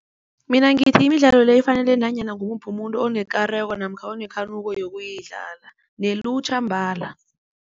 Mina ngithi imidlalo le ifanele nanyana ngumuphi umuntu onekareko namkha onekhanuko yokuyidlala nelutjha mbala.